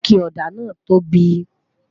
ike òdà nà tobi